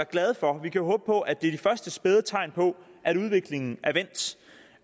glade for vi kan håbe på at det er de første spæde tegn på at udviklingen